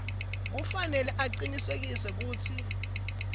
kufanele acinisekise kutsi